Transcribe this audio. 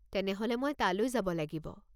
তেনেহ'লে মই তালৈ যাব লাগিব।